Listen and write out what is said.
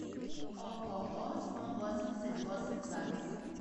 ооо сму восемьдесят восемь запись